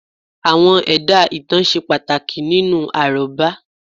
Àwọn ẹ̀dá ìtàn ṣe pàtàkì nínú àrọ́bá